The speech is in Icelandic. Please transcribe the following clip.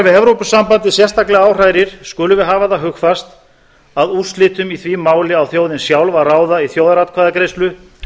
evrópusambandið sérstaklega áhrærir skulum við hafa það hugfast að úrslitum í því máli á þjóðin sjálf að ráða í þjóðaratkvæðagreiðslu